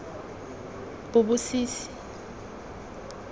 bobosisi